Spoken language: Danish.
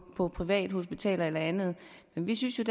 på privathospital eller andet men vi synes